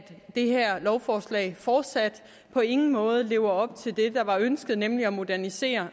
det her lovforslag fortsat på ingen måde lever op til det der var ønsket nemlig at modernisere